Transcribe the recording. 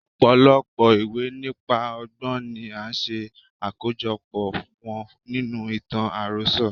Ọ̀pọ̀lọpọ̀ ìwé nípa ọgbọ́n ni a ṣe àkójo pọ̀ wọn nínú ìtàn àròsọ.